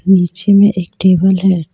नीचे में एक टेबल है.